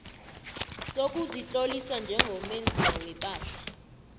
sokuzitlolisa njengomenzi wepahla